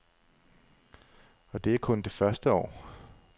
Og det er kun det første år.